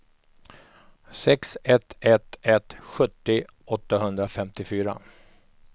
sex ett ett ett sjuttio åttahundrafemtiofyra